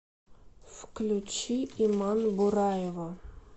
включи иман бураева